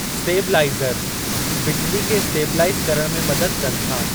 Stabiliser बिजली खे stabilise करणु में मदद कनि था।